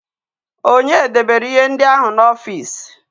Ònye debere ihe ndị ahụ n'ọfịs?